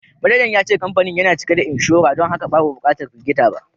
Manaja ya ce kamfanin yana cike da inshora don haka babu bukatar firgita ba